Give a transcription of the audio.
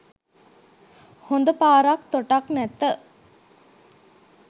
හොඳ පාරක් තොටක් නැත.